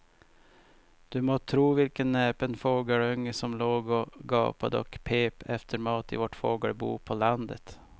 Du må tro vilken näpen fågelunge som låg och gapade och pep efter mat i vårt fågelbo på landet.